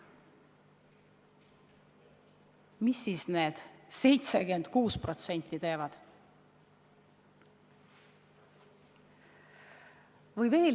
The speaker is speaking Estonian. Mida siis need 76% teevad?